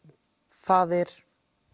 faðir